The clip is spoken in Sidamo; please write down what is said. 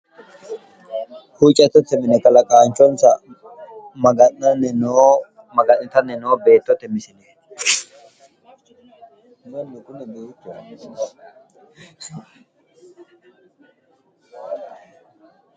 Huuuccattote mine kalaqaanchonsa maga'nanni noo, maga'nittanni noo beettote misile.